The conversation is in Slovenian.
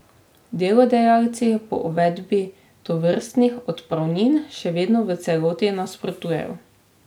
Delodajalci pa uvedbi tovrstnih odpravnin še vedno v celoti nasprotujejo.